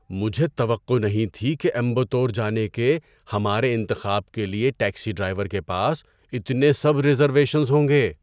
مجھے توقع نہیں تھی کہ امبتور جانے کے ہمارے انتخاب کے لیے ٹیکسی ڈرائیور کے پاس اتنے سب ریزرویشنز ہوں گے۔